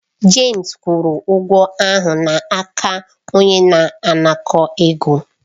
James kwụrụ ụgwọ ahụ n'aka onye na-anakọ̀ ego.